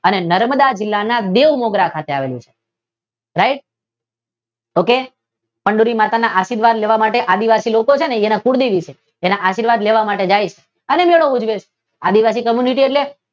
અને નર્મદા જિલ્લાના બેઉ મુદ્રા ખાતે આવેલું છે રાઇટ? ઓકે ચંદૂરી માતાના આશીર્વાદ લેવા માટે આદીવાસી લોકો છે ને તેના કુળદેવી છે ત્યાં આશીર્વાદ લેવા માટે જાય છે અને ત્યાં મેળો ઉજવે છે. આદીવાસી કોમની છે એટલે